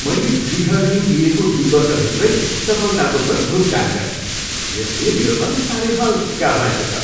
मैले गृह ऋण लिएको दुई वर्षभित्रै सफलतापूर्वक भुक्तान गरेँ। यसले मेरो मन साह्रै हल्का भएको छ।